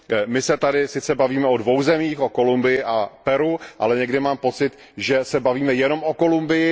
My se tady sice bavíme o dvou zemích, o Kolumbii a o Peru, ale někdy mám pocit, že se bavíme jenom o Kolumbii.